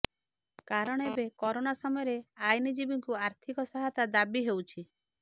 କାରଣ ଏବେ କାରୋନା ସମୟରେ ଆଇନଜୀବୀଙ୍କୁ ଆର୍ଥିକ ସହାୟତା ଦାବି ହେଉଛି